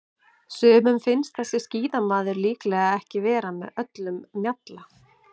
Sumum finnst þessi skíðamaður líklega ekki vera með öllum mjalla.